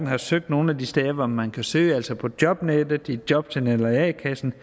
har søgt nogen af de steder hvor man kan søge altså på jobnet i jobcenteret eller a kassen